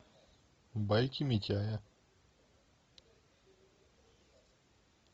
байки митяя